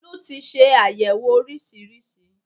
Tolú ti se àyẹ̀wò oríṣiríṣi